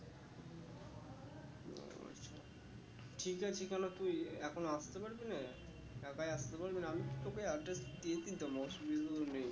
ঠিক আছে কেন তুই এখন আসতে পারবি না হ্যাঁ ভাই আসতে পারবি না আমি তো তোকে address দিয়ে দিতাম অসুবিধে তো নেই